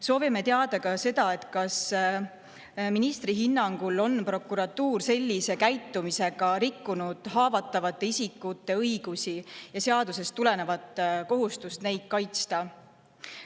Soovime teada ka seda, kas ministri hinnangul on prokuratuur sellise käitumisega rikkunud haavatavate isikute õigusi ja seadusest tulenevat kohustust neid kaitsta.